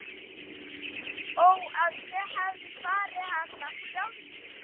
Ó að ég hefði farið hana sjálfur.